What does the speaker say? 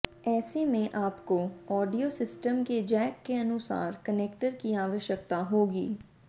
ऐसे में आपको ऑडियो सिस्टम के जैक के अनुसार कनेक्टर की आवश्यकता होगी